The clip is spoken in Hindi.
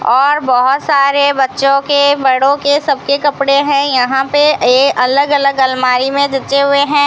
और बहुत सारे बच्चों के बड़ों के सब के कपड़े हैं यहां पे ये अलग अलग अलमारी में हुए हैं।